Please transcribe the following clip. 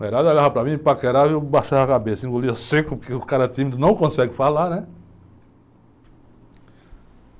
Mulherada olhava para mim, paquerava e eu baixava a cabeça, engolia seco, porque o cara tímido não consegue falar, né?